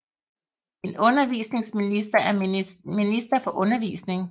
En undervisningsminister er minister for undervisning